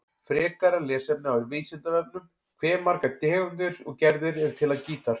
Frekara lesefni á Vísindavefnum: Hve margar tegundir og gerðir eru til af gítar?